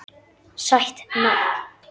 Sætt nafn.